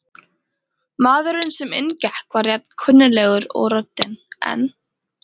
Maðurinn sem inn gekk var jafn kunnuglegur og röddin, en